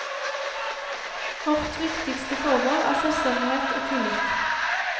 Vårt viktigste formål er selvstendighet og tillit.